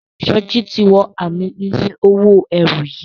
Soji tí wọ Ààmì iye owó ẹrù yí.